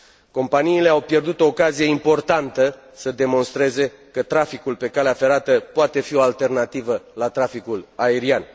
Companiile au pierdut o ocazie importantă să demonstreze că traficul pe calea ferată poate fi o alternativă la traficul aerian.